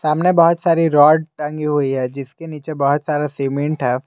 सामने बहुत सारी रॉड टांगी हुई है जिसके नीचे बहुत सारा सीमेंट है।